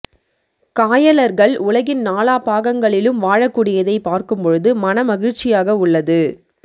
காயலர்கள் உலகின் நாலாபாகங்களிலும் வாழக்கூடியதை பார்க்கும் பொழுது மன மகிழ்ச்சியாக உள்ளது